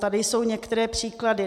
Tady jsou některé příklady.